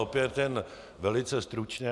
Opět jen velice stručně.